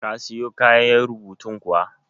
Ka siyo kayan rubutun kuwa?